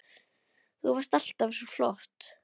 Þú varst alltaf svo flott.